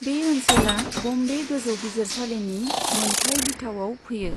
बे ओनसोला बम्बे गोजौ बिजिरसालिनि मोनथाइ बिथावाव फैयो।